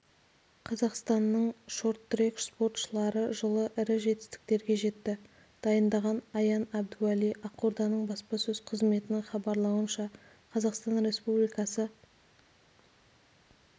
қазақстанның шорт-трек спортшылары жылы ірі жетістіктерге жетті дайындаған аян әбдуәли ақорданың баспасөз қызметінің хабарлауынша қазақстан республикасы